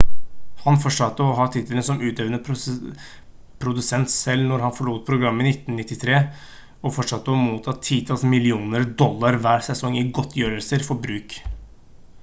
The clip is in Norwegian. han fortsatte å ha tittelen som utøvende produsent selv når han forlot programmet i 1993 og fortsatte å motta titalls millioner dollar hver sesong i godtgjørelser for bruk